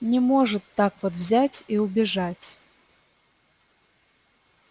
не может так вот взять и убежать